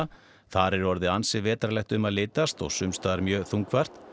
þar er orðið ansi vetrarlegt um að litast og mjög þungfært